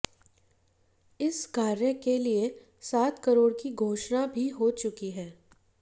इस कार्य के लिए सात करोड़ की घोषणा भी हो चुकी है